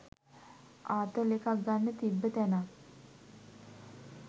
ආතල් එකක් ගන්න තිබ්බ තැනක්